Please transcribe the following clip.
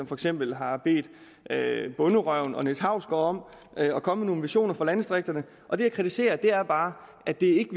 for eksempel har bedt bonderøven og niels hausgaard om at komme med nogle visioner for landdistrikterne og det jeg kritiserer er bare at det ikke